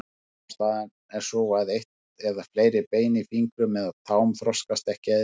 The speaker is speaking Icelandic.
Ástæðan er sú að eitt eða fleiri bein í fingrum eða tám þroskast ekki eðlilega.